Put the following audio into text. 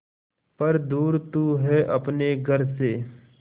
पर दूर तू है अपने घर से